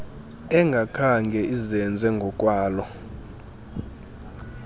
engakhange izenze ngokwalo